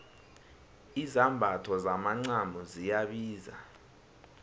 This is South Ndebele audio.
izambatho zomacamo ziyabiza